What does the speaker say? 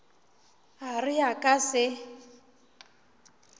a re a ka se